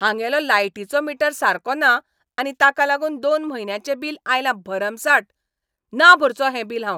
हांगेलो लायटिचो मीटर सारको ना आनी ताका लागून दोन म्हयन्यांचें बील आयलां भरमसाट. ना भरचों हें बिल हांव?